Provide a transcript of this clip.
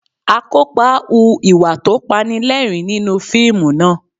Akópa hu ìwà tó Panilẹ́rìn-ín nínú fíìmù náà